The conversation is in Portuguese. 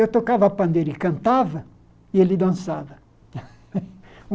Eu tocava pandeiro e cantava, e ele dançava.